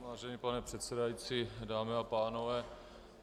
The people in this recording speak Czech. Vážený pane předsedající, dámy a pánové.